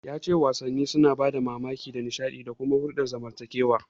Ya ce wasanni suna ba da damammaki na nishaɗi da kuma hulɗar zamantakewa.